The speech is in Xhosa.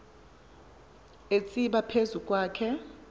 atsiba phezu kwakhe